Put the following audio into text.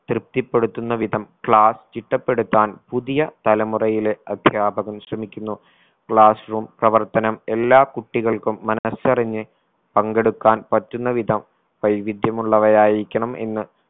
തൃപ്തിപ്പെടുത്തുന്ന വിധം class ചിട്ടപ്പെടുത്താൻ പുതിയ തലമുറകയിലെ അധ്യാപകൻ ശ്രമിക്കുന്നു class room പ്രവർത്തനം എല്ലാ കുട്ടികൾക്കും മനസറിഞ്ഞ് പങ്കെടുക്കാൻ പറ്റുന്ന വിധം വൈവിധ്യമുള്ളവയായിരിക്കണം എന്ന്